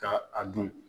Ka a dun